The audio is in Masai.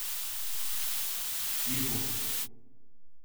Nipple?